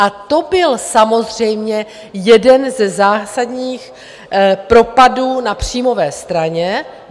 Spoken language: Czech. A to byl samozřejmě jeden ze zásadních propadů na příjmové straně.